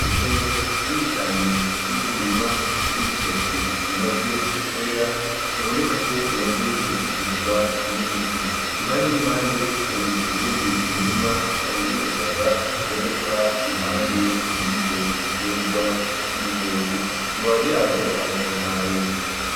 Itongo rinini cane ririmwo umurima w'ibitoki bimaze kwera bibonekako bimaze gushikirwa n'ibiti impande n'impande hari uwundi murima w'ubushaza uboneka iruhande yivyo biterwa vy'ibitoki amababi yavyo aratotahaye.